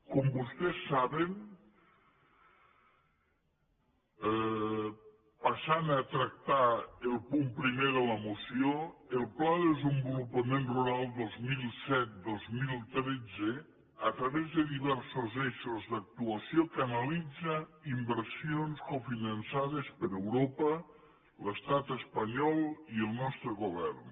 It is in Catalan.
com vostès saben passant a tractar el punt primer de la moció el pla de desenvolupament rural dos mil set dos mil tretze a través de diversos eixos d’actuació canalitza inversions cofinançades per europa l’estat espanyol i el nostre govern